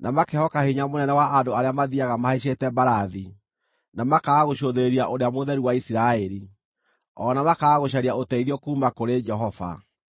na makehoka hinya mũnene wa andũ arĩa mathiiaga mahaicĩte mbarathi, na makaaga gũcũthĩrĩria Ũrĩa Mũtheru wa Isiraeli, o na makaaga gũcaria ũteithio kuuma kũrĩ Jehova.